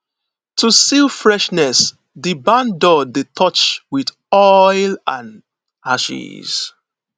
to seal freshness di barn door dey dey touched with oil and ashes